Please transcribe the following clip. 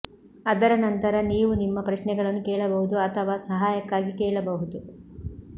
ಅದರ ನಂತರ ನೀವು ನಿಮ್ಮ ಪ್ರಶ್ನೆಗಳನ್ನು ಕೇಳಬಹುದು ಅಥವಾ ಸಹಾಯಕ್ಕಾಗಿ ಕೇಳಬಹುದು